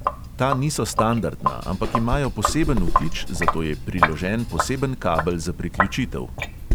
Ta niso standardna, ampak imajo poseben vtič, zato je priložen poseben kabel za priključitev.